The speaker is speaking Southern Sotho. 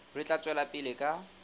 re tla tswela pele ka